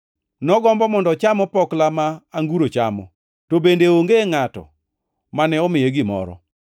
Nogombo mondo ocham opokla ma anguro chamo, to bende onge ngʼato mane omiye gimoro.